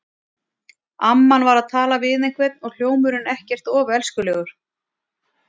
Amman var að tala við einhvern og hljómurinn ekkert of elskulegur.